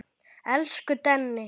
Elsku Denni.